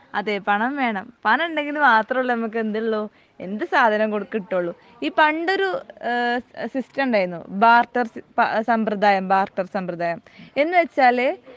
അതെ പണം വേണം പണം ഉണ്ടെങ്കിൽ മാത്രമല്ലെ നമുക്ക് എന്തൊള്ളു എന്ത് സാധനോം കിട്ടൊള്ളു ഈ പണ്ടൊരു ഈഹ് സിസ്റ്റം ഉണ്ടെർന്നു ബാർട്ടർ സമ്പ്രദായം ബാർട്ടർ സമ്പ്രദായം. എന്ന് വെച്ചാൽ